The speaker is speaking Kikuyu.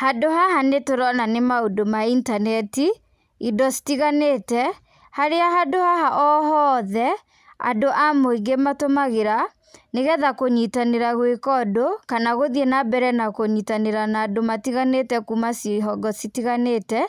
Handũ haha nĩ tũrona nĩ maũndũ ma intaneti, indo citiganĩte, harĩa handũ haha o hothe, andũ a mũingĩ matũmagĩra, nĩ getha kũnyitanĩra gwĩka ũndũ, kana gũthiĩ na mbere na kũnyitanĩra na andũ matiganĩte kuuma cihonge citiganĩte,